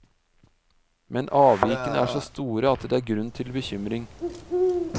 Men avvikene er så store at det er grunn til bekymring.